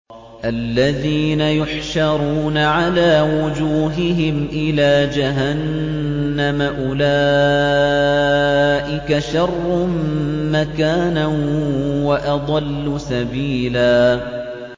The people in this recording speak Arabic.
الَّذِينَ يُحْشَرُونَ عَلَىٰ وُجُوهِهِمْ إِلَىٰ جَهَنَّمَ أُولَٰئِكَ شَرٌّ مَّكَانًا وَأَضَلُّ سَبِيلًا